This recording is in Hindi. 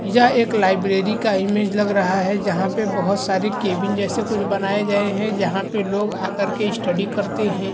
यह एक लाइब्रेरी का इमेज लग रहा है यहाँ पे बहोत सारी केबिन जैसे कुछ बनाये गए हैं यहाँ पे लोग आ कर के स्टडी करते हैं।